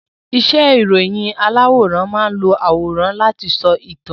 Iṣẹ́ ìròyìn aláwòrán máán lo àwòrán láti sọ ìtàn